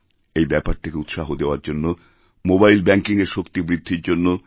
এইব্যাপারটাকে উৎসাহ দেওয়ার জন্য মোবাইল ব্যাঙ্কিংএর শক্তি বৃদ্ধির জন্য